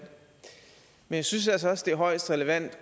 men jeg synes altså også det er højst relevant